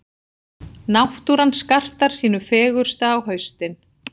Náttúran skartar sínu fegursta á haustin.